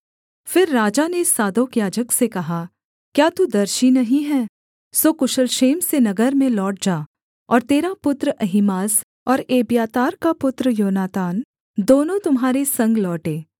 फिर राजा ने सादोक याजक से कहा क्या तू दर्शी नहीं है सो कुशल क्षेम से नगर में लौट जा और तेरा पुत्र अहीमास और एब्यातार का पुत्र योनातान दोनों तुम्हारे संग लौटें